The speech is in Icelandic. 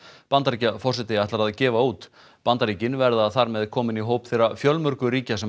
Bandaríkjaforseti ætlar að gefa út Bandaríkin verða þar með komin í hóp þeirra fjölmörgu ríkja sem